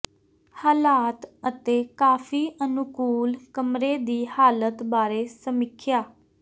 ਹਾਲਾਤ ਅਤੇ ਕਾਫ਼ੀ ਅਨੁਕੂਲ ਕਮਰੇ ਦੀ ਹਾਲਤ ਬਾਰੇ ਸਮੀਖਿਆ